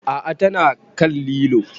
A'a ta na kan lilo